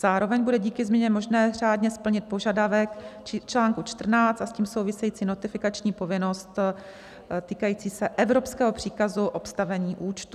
Zároveň bude díky změně možné řádně splnit požadavek článku 14 a s tím související notifikační povinnost, týkající se evropského příkazu obstavení účtu.